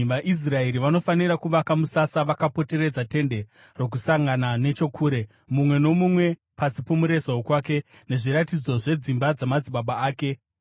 “VaIsraeri vanofanira kuvaka musasa vakapoteredza Tende Rokusangana nechokure, mumwe nomumwe pasi pomureza wokwake nezviratidzo zvedzimba dzamadzibaba ake.”